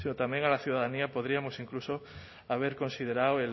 también a la ciudadanía podríamos incluso haber considerado